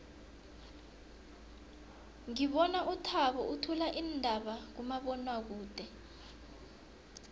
ngibona uthabo uthula iindaba kumabonwakude